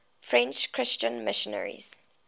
french christian missionaries